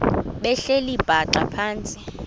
behleli bhaxa phantsi